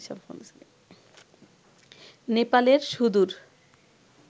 নেপালের সুদূর